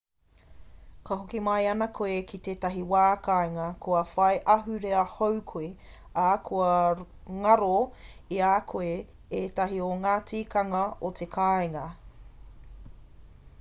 ka hoki mai ana koe ki te wā kāinga kua whai ahurea hou koe ā kua ngaro i a koe ētahi o ngā tikanga o te kāinga